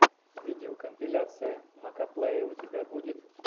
видеокомпиляция макоплэя у тебя будет